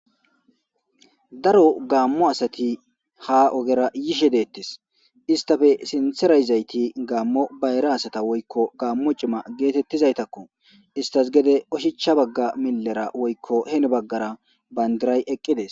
daro gaammo asati ha ogera yishe deettes istafe sintherayizayti gaammo bayra asata woykko gaammo cima geetettizaytakko istas gede oshichcha bagga millera woykko hene baggara bayndiray eqqides